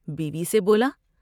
بیوی سے بولا ۔